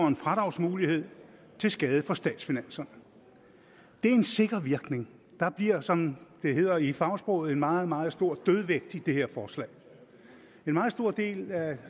en fradragsmulighed til skade for statsfinanserne det er en sikker virkning der bliver som det hedder i fagsproget en meget meget stor dødvægt i det her forslag en meget stor del af